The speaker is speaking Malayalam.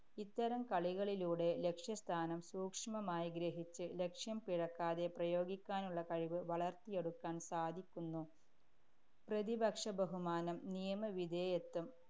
ഇത്തരം കളികളിലൂടെ ലക്ഷ്യസ്ഥാനം സൂക്ഷ്മമായി ഗ്രഹിച്ച് ലക്ഷ്യം പിഴയ്ക്കാതെ പ്രയോഗിക്കാനുള്ള കഴിവ് വളര്‍ത്തിയെടുക്കാന്‍ സാധിക്കുന്നു. പ്രതിപക്ഷബഹുമാനം, നിയമവിധേയത്വം,